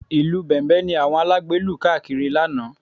Ìlù Bẹ̀m̀bẹ̀ ni àwọn alágbe lù káàkiri lánàá